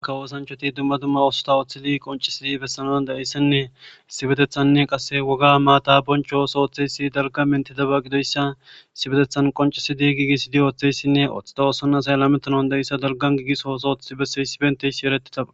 Aka woosanchoti dumma dumma oosota ooththidi qoncisidi bessanoan da'eyssanne sibetethanne qasse woga maata bonchoos ooththeysi dalga mentidaba gidoyssa sibetethan qoncisidi giigisidi ooththeyssinne oththida oosonasay lametonon da'issa dalgan giigis hoosooth besse sibentey si eretitaba.